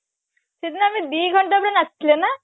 ସେଦିନ ଆମେ ଦିଘଣ୍ଟା ପୁରା ନାଚିଥିଲେ ନା